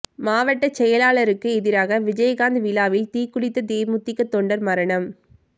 மாவட்டச் செயலாளருக்கு எதிராக விஜயகாந்த் விழாவில் தீக்குளித்த தேமுதிக தொண்டர் மரணம்